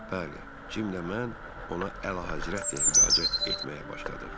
Bəli, Cim də mən ona əlahəzrət deyə müraciət etməyə başladıq.